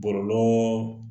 Bɔlɔlɔ